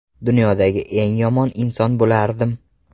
Dunyodagi eng yomon inson bo‘lardim.